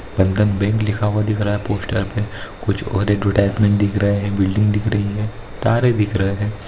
बंधन बैंक लिखा हुआ दिख रहा है पोस्टर पे कुछ और दिख रहे बिल्डिंग दिख रही है तारे दिख रहे है।